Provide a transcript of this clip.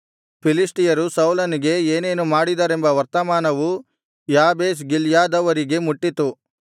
ಫಿಲಿಷ್ಟಿಯರು ಸೌಲನಿಗೆ ಏನೇನು ಮಾಡಿದರೆಂಬ ವರ್ತಮಾನವು ಯಾಬೇಷ್ ಗಿಲ್ಯಾದವರಿಗೆ ಮುಟ್ಟಿತು